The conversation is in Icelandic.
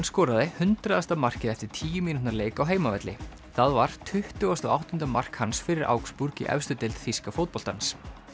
skoraði hundraðasta markið eftir tíu mínútna leik á heimavelli það var tuttugasta og áttunda mark hans fyrir augsburg í efstu deild þýska fótboltans